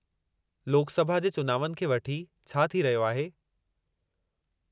लोकसभा जे चुनावनि खे वठी छा थी रहियो आहे?